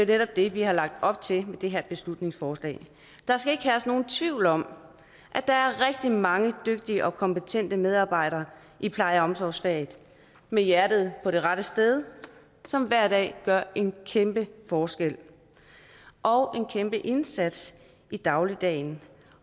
netop det vi har lagt op til med det her beslutningsforslag der skal ikke herske nogen tvivl om at der er rigtig mange dygtige og kompetente medarbejdere i pleje og omsorgsfaget med hjertet på det rette sted som hver dag gør en kæmpe forskel og en kæmpe indsats i dagligdagen